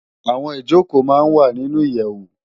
Awòn Ijókó má n wá ninú iyèwó